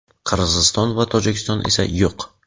Qirg‘iziston va Tojikiston esa yo‘q.